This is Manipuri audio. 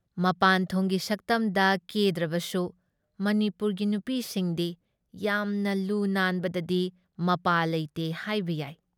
ꯃꯄꯥꯟꯊꯣꯡꯒꯤ ꯁꯛꯇꯝꯗ ꯀꯦꯗ꯭ꯔꯕꯁꯨ ꯃꯅꯤꯄꯨꯔꯒꯤ ꯅꯨꯄꯤꯁꯤꯡꯗꯤ ꯌꯥꯝꯅ ꯂꯨ ꯅꯥꯟꯕꯗꯗꯤ ꯃꯄꯥ ꯂꯩꯇꯦ ꯍꯥꯏꯕ ꯌꯥꯏ ꯫